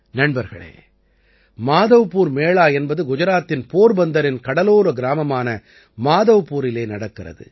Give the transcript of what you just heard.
நண்பர்களே மாதவ்பூர் மேளா என்பது குஜராத்தின் போர்பந்தரின் கடலோர கிராமமான மாதவ்பூரிலே நடக்கிறது